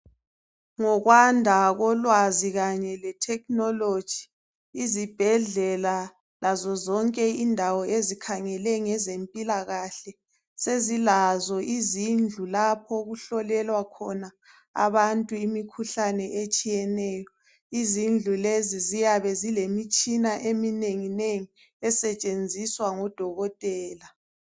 Ngokwanda kholwazi khanye lethekhinoloji, izibhedlela lazozonge indawo ezikhangele ngezemphilakahle, sezilazo izindlu lapho okuhlolelwa khona abantu imikhuhlane etshiyeneyo. Izindlu lezi ziyabe zilemitshina eminenginengi esetshenziswa ngodokothela.